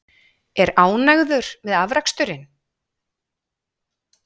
Er ánægður með afraksturinn?